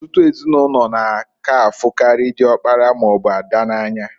Ọtụtụ ezinụlọ n'aka afukari diokpara maọbụ ada n'anya.